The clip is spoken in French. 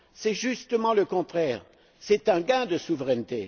C'est justement le contraire c'est un gain de souveraineté.